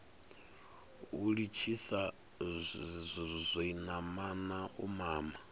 u litshisa zwinamana u mama